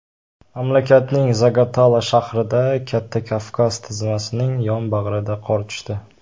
Mamlakatning Zagatala shahrida, Katta Kavkaz tizmasining yonbag‘riga qor tushdi.